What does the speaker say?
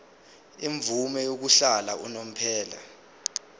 imvume yokuhlala unomphela